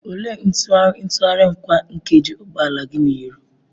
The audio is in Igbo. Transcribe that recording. Olee ntụgharị ntụgharị kwa nkeji ụgbọ ala gị na-eru?